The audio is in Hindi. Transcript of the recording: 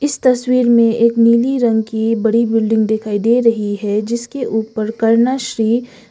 इस तस्वीर में एक नीली रंग की बड़ी बिल्डिंग दिखाई दे रही है जिसके ऊपर करना श्री--